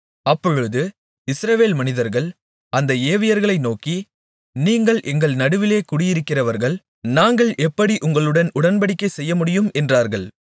அப்பொழுது இஸ்ரவேல் மனிதர்கள் அந்த ஏவியர்களை நோக்கி நீங்கள் எங்கள் நடுவிலே குடியிருக்கிறவர்கள் நாங்கள் எப்படி உங்களுடன் உடன்படிக்கை செய்யமுடியும் என்றார்கள்